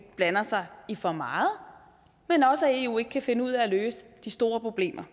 blander sig i for meget men også at eu ikke kan finde ud af at løse de store problemer